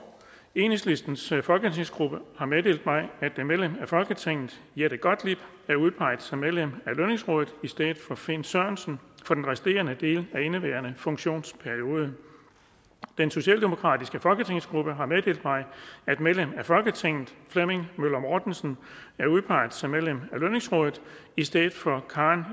enhedslistens folketingsgruppe har meddelt mig at medlem af folketinget jette gottlieb er udpeget som medlem af lønningsrådet i stedet for finn sørensen for den resterende del af indeværende funktionsperiode den socialdemokratiske folketingsgruppe har meddelt mig at medlem af folketinget flemming møller mortensen er udpeget som medlem af lønningsrådet i stedet for karen